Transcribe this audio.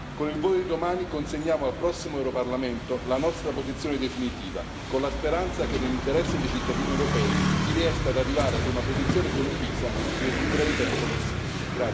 Con il voto di domani consegniamo al prossimo Europarlamento la nostra posizione definitiva, con la speranza che nell'interesse dei cittadini europei si riesca ad arrivare ad una posizione condivisa nel più breve tempo possibile.